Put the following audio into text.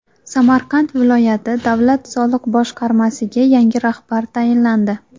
Samarqand viloyati davlat soliq boshqarmasiga yangi rahbar tayinlandi.